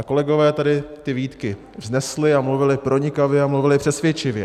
A kolegové tady ty výtky vznesli a mluvili pronikavě a mluvili přesvědčivě.